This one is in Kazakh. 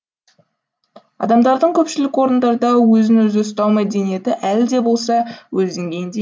адамдардың көпшілік орындарда өзін өзі ұстау мәдениеті әлі де болса өз деңгейінде